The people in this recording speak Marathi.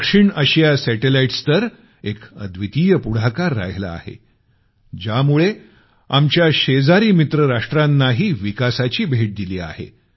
दक्षिण आशिया सॅटेलाईट्स तर एक अद्वितीय पुढाकार राहिला आहे ज्यामुळे आमच्या शेजारी मित्र राष्ट्रांनाही विकासाची भेट दिली आहे